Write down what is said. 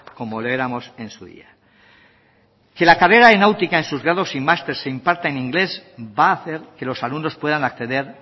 como lo éramos en su día que la carrera de náutica en sus grados y másteres se imparta en inglés va a hacer que los alumnos puedan acceder